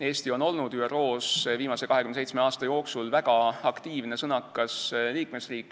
Eesti on olnud ÜRO-s viimase 27 aasta jooksul väga aktiivne ja sõnakas liikmesriik.